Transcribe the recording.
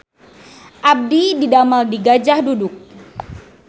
Abdi didamel di Gajah Duduk